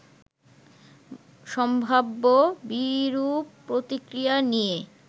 সম্ভাব্য বিরূপ প্রতিক্রিয়া নিয়ে